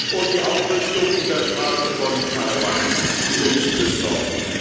und die Aufrüstung in der Straße von Taiwan, die uns besorgt.